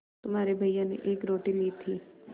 तुम्हारे भैया ने एक रोटी ली थी